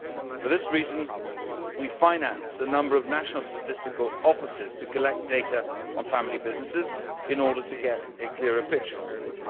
For this reason, we are financing a number of national statistical offices to collect data on family businesses in order to get a clearer picture on them.